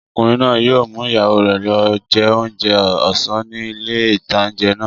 Ọkùnrin náà yóò mú ìyàwó rẹ̀ lọ jẹ oúnjẹ ọ̀sán ní ilé ìtánjẹ náà